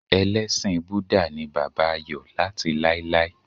Elésìn Búdà ni bàbá Ayò láti láéláé